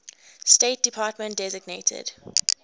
state department designated